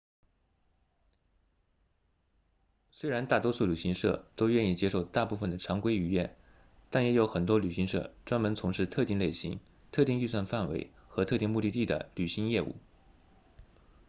虽然大多数旅行社都愿意接受大部分的常规预约但也有很多旅行社专门从事特定类型特定预算范围或特定目的地的旅行业务